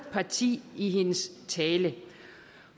parti i hendes tale